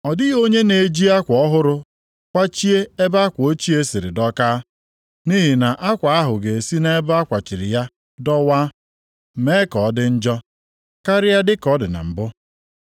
“Ọ dịghị onye na-eji akwa ọhụrụ kwachie ebe akwa ochie siri dọkaa, nʼihi na akwa ahụ ga-esi nʼebe a kwachiri ya dọwaa; mee ka ọ dị njọ karịa ka ọ dị na mbụ.